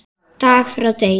Dag frá degi.